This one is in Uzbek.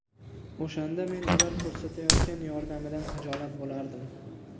O‘shanda men ular ko‘rsatayotgan yordamidan hijolat bo‘lardim.